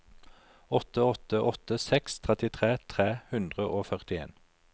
åtte åtte åtte seks trettitre tre hundre og førtien